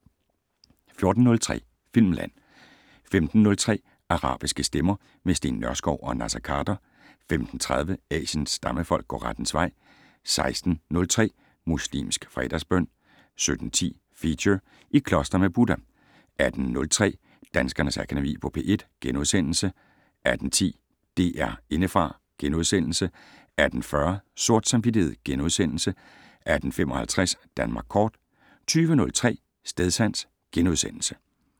14:03: Filmland 15:03: Arabiske stemmer - med Steen Nørskov og Naser Khader 15:30: Asiens stammefolk går rettens vej 16:03: Muslimsk fredagsbøn 17:10: Feature: I kloster med Buddha 18:03: Danskernes Akademi på P1 * 18:10: DR Indefra * 18:40: Sort samvittighed * 18:55: Danmark Kort 20:03: Stedsans *